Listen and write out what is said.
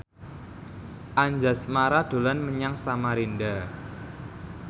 Anjasmara dolan menyang Samarinda